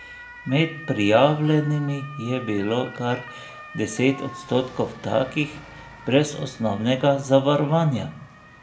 Med prijavljenimi je bilo kar deset odstotkov takih brez osnovnega zavarovanja.